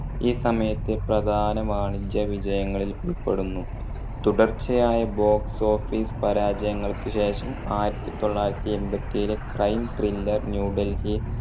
ഈ സമയത്തെ പ്രധാന വാണിജ്യ വിജയങ്ങളിൽ ഉൾപ്പെടുന്നു. തുടർച്ചയായ box-office പരാജയങ്ങൾക്ക് ശേഷം ആയിരത്തി തൊള്ളായിരത്തി എമ്പത്തേഴിലെ crime-thrillern ന്യൂ ഡൽഹി